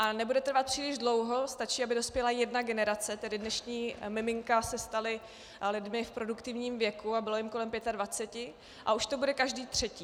A nebude trvat příliš dlouho, stačí, aby dospěla jedna generace, tedy dnešní miminka se stala lidmi v produktivním věku a bylo jim kolem 25, a už to bude každý třetí.